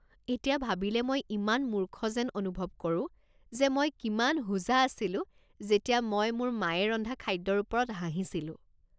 এতিয়া ভাবিলে মই ইমান মূৰ্খ যেন অনুভৱ কৰোঁ যে মই কিমান হোজা আছিলোঁ যেতিয়া মই মোৰ মায়ে ৰন্ধা খাদ্যৰ ওপৰত হাঁহিছিলোঁ।